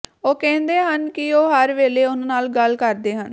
ਉਹ ਕਹਿੰਦੇ ਹਨ ਕਿ ਉਹ ਹਰ ਵੇਲੇ ਉਹਨਾਂ ਨਾਲ ਗੱਲ ਕਰਦੇ ਹਨ